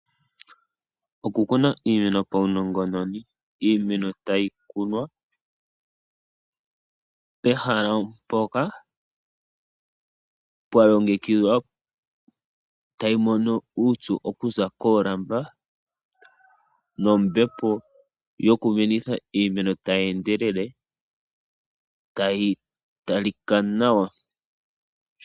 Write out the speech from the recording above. Oku kuna iimeno paunongononi. Iimeno tayi kunwa pehala mpoka pwa longekidhwa, tayi mono uupyu okuza koolamba nombepo yoku menitha iimeno tayi endelele, tayi talika nawa.